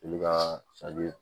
Olu ka